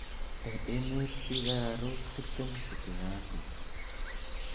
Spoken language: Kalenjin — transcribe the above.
Eng' emeet biik ararook tiptem chetinye asthma